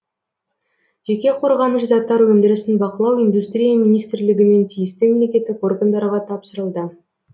жеке қорғаныш заттар өндірісін бақылау индустрия министрлігі мен тиісті мемлекеттік органдарға тапсырылды